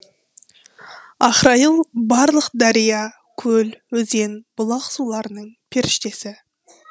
ахрайыл барлық дария көл өзен бұлақ суларының періштесі